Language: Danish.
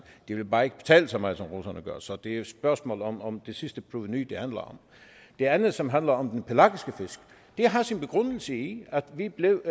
de vil bare ikke betale så meget som russerne gør så det er jo et spørgsmål om om det sidste provenu det andet som handler om den pelagiske fisk har sin begrundelse i at vi blev